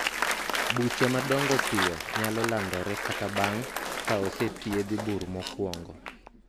buche madongo piyo nyalo landore kata bang' ka osethiedhi bur mokwongo